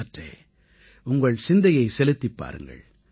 சற்றே உங்கள் சிந்தையை செலுத்திப் பாருங்கள்